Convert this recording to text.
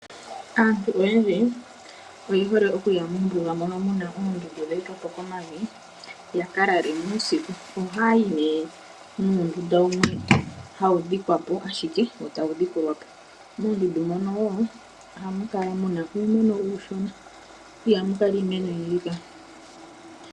Aantu oyendji oye hole okuya mombuga moka mu na oondundu dhe etwa po komavi ya ka lale mo uusiku. Ohaya yi nuutenda mboka hawu dhikwa po wo tawu dhikulwa po. Moondundu ohamu kala mu na uumeno uushona, ihamu kala iimeno oyindji.